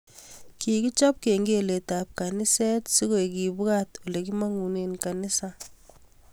Kikichob kengelet ab kaniset so koek kebwat olekimangune kanisa